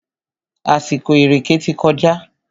Àsìkò ìrèkè ti kọjá.